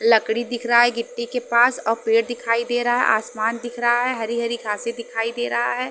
लकड़ी दिख रहा है गिट्टी के पास और पेड़ दिखाई दे रहा है आसमान दिख रहा है हरी-हरी घासे दिखाई दे रहा है।